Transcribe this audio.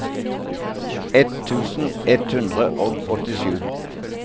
ett tusen ett hundre og åttisju